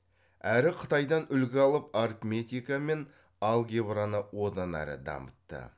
әрі қытайдан үлгі алып арифметика мен алгебраны одан әрі дамытты